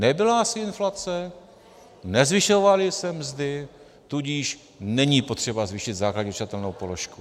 Nebyla asi inflace, nezvyšovaly se mzdy, tudíž není potřeba zvýšit základní odčitatelnou položku.